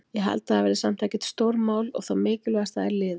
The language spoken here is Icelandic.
Ég held að það verði samt ekkert stórmál og það mikilvægasta er liðið.